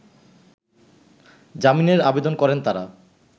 জামিনের আবেদন করেন তারা